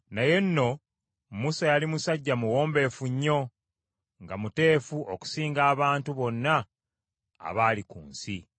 Naye nno, Musa yali musajja muwombeefu nnyo, nga muteefu okusinga abantu bonna abaali ku nsi.